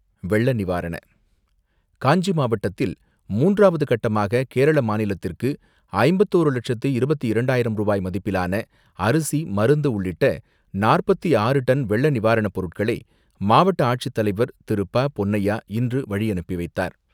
வெள்ளநிவாரண காஞ்சிபுரம் மாவட்டத்தில், மூன்றாவது கட்டமாக கேரள மாநிலத்திற்கு ஐம்பத்து ஒன்று லட்சத்து இருப்பத்து இரண்டாயிரம் ரூபாய் மதிப்பிலான அரிசி, மருந்து உள்ளிட்ட நாற்பத்து ஆறு டன் வெள்ள நிவாரண பொருட்களை, மாவட்ட ஆட்சித்தலைவர் திரு.ப.பொன்னையா இன்று வழியனுப்பி வைத்தார்.